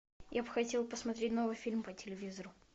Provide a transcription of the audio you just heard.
я бы хотел посмотреть новый фильм по телевизору